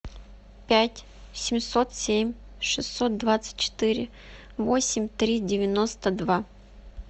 пять семьсот семь шестьсот двадцать четыре восемь три девяносто два